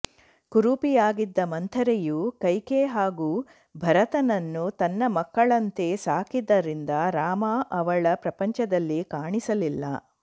ಕುರೂಪಿಯಾಗಿದ್ದ ಮಂಥರೆಯು ಕೈಕೆ ಹಾಗೂ ಭರತನನ್ನು ತನ್ನ ಮಕ್ಕಳಂತೆ ಸಾಕಿದ್ದರಿಂದ ರಾಮ ಅವಳ ಪ್ರಪಂಚದಲ್ಲಿ ಕಾಣಿಸಲಿಲ್ಲ